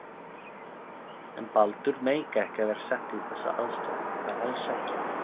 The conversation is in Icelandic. En Baldur meikaði ekki að vera settur í þessa aðstöðu, bara alls ekki.